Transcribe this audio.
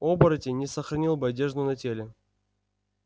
оборотень не сохранил бы одежду на теле